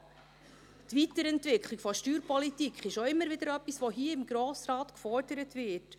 Die Weiterentwicklung der Steuerpolitik ist auch immer wieder etwas, das vom Grossen Rat gefordert wird.